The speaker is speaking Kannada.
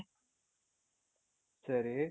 ಸರಿ